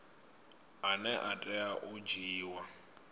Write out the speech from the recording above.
ane a tea u dzhiiwa